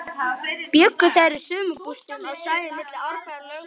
Bjuggu þeir í sumarbústöðum á svæðinu milli Árbæjar og Lögbergs.